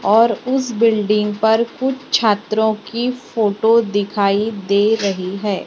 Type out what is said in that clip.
और उस बिल्डिंग पर कुछ छात्रों की फोटो दिखाई दे रही है।